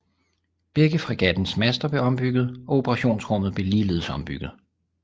Begge fregattens master blev ombygget og operationsrummet blev ligeledes ombygget